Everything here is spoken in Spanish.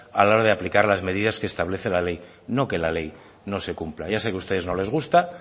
a la hora de aplicar las medidas que establece la ley no que la ley no se cumpla ya sé que a ustedes no les gusta